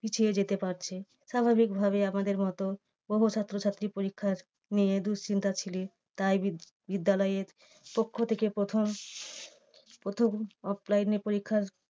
পিছিয়ে যেতে পারছে। স্বাভাবিক ভাবে আমাদের মতন বহু ছাত্রছাত্রী পরীক্ষার নিয়ে দুঃশ্চিন্তা ছিল। তাই বিদ~ বিদ্যালয়ের পক্ষ থেকে প্রথম প্রথম offline এ পরীক্ষার